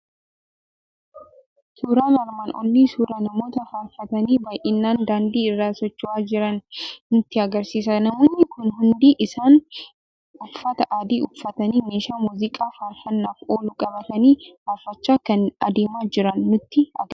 Suuraan armaan olii suuraa namoota faarfatanii, baay'inaan daandii irra socho'aa jiranii nutti argisiisa. Namoonni kun hundi isaanii uffata adii uffatanii, meeshaa muuziqaa faarfanaaf oolu qabatanii faarfachaa kan adeemaa jiran nutti argisiisa.